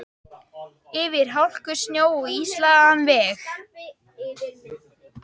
Yfir hálku, snjó og ísilagðan veg.